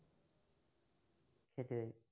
সেইটোৱেই